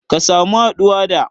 Ka samu haɗuwa da